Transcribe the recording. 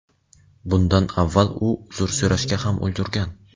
Bundan avval u uzr so‘rashga ham ulgurgan.